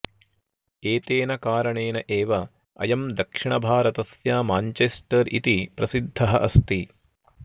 एतेन कारणेन एव अयं दक्षिणभारतस्य माञ्चेस्टर् इति प्रसिद्धः अस्ति